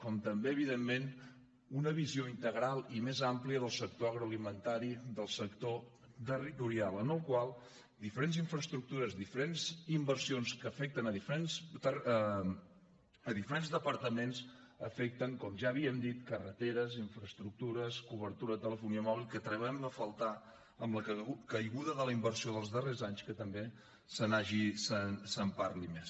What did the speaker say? com també evidentment una visió integral i més amplia del sector agroalimentari del sector territorial en el qual diferents infraestructures diferents inversions que afecten diferents departaments afecten com ja havíem dit carreteres infraestructures cobertura de telefonia mòbil que trobem a faltar amb la caiguda de la inversió dels darrers anys que també se’n parli més